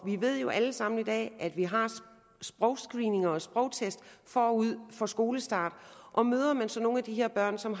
vi ved jo alle sammen i dag at vi har sprogscreeninger og sprogtest forud for skolestart og møder man så nogle af de her børn som